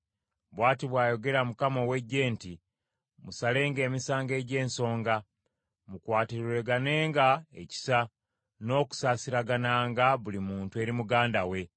“Bw’ati bw’ayogera Mukama ow’Eggye nti, ‘Musalenga emisango egy’ensonga, mukwatirweganenga ekisa n’okusaasiragananga buli muntu eri muganda we.